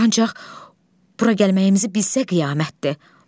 Ancaq bura gəlməyimizi bilsə qiyamətdir.